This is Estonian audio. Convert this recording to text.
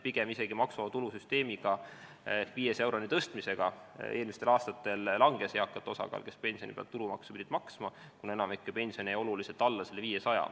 Pigem maksuvaba tulu 500 euroni tõstmisega eelmistel aastatel isegi langes nende eakate osakaal, kes pensioni pealt tulumaksu pidid maksma, kuna enamiku pension jäi oluliselt alla 500.